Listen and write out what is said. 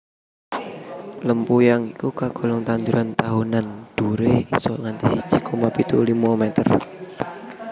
Lempuyang iku kagolong tanduran tahunan dhuwuré isa nganti sji koma pitu limo meter